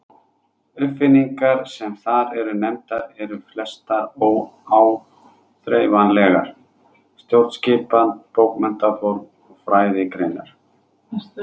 Uppfinningarnar sem þar eru nefndar eru flestar óáþreifanlegar: stjórnskipan, bókmenntaform og fræðigreinar.